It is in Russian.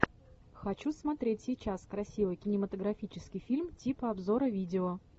хочу смотреть сейчас красивый кинематографический фильм типа обзора видео